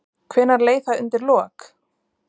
Hvenær leið það undir lok?